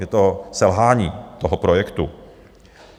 Je to selhání toho projektu.